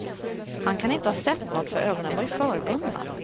Han kan inte ha sett nåt för ögonen var ju förbundna.